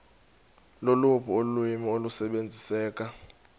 loluphi ulwimi olusebenziseka